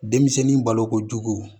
Denmisɛnnin balokojugu